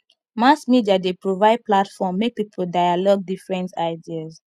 mass media dey provide platform make people dialogue different ideas